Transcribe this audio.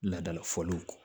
Ladala fɔliw kɔ